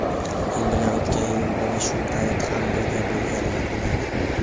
Men bilan o‘tgan yili mana shu payt ham birga bo‘lganlar biladi.